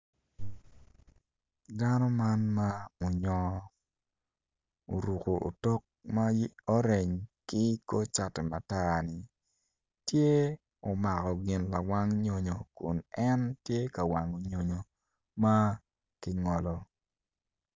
Dano man ma onyongo oruko otok ma orange ki kor cati matar tye omako gin lawang nyonyo ma kingolo.